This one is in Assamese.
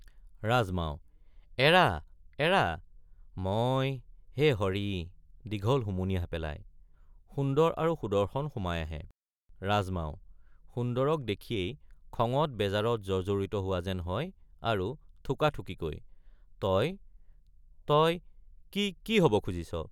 ৰাজমাও—এৰা এৰা মই—হে হৰি দীঘল হুমুনিয়াহ পেলাই সুন্দৰ আৰু সুদৰ্শন সোমাই আহে ৰাজমাও— সুন্দৰক দেখিয়েই খঙত বেজাৰত জৰ্জৰিত হোৱা হেন হয় আৰু থোকাথুকিকৈ তই—তই—কি—কি হব খুজিছ?